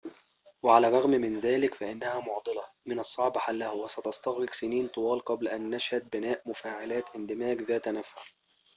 وعلى الرغم من ذلك فإنها معضلة من الصعب حلها وستستغرق سنين طوال قبل أن نشهد بناء مفاعلات اندماج ذات نفع